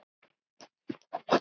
Takk fyrir mig, afi.